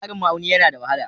Tsarin ma'auni yana da wahala.